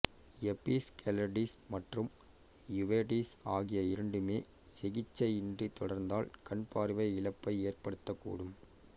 episcleritis மற்றும் uveitis ஆகிய இரண்டுமே சிகிச்சை இன்றி தொடர்ந்தால் கண் பார்வை இழப்பை ஏற்படுத்தக்கூடும்